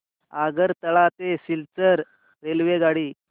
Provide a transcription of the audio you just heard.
आगरतळा ते सिलचर रेल्वेगाडी